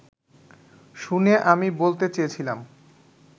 শুনে আমি বলতে চেয়েছিলাম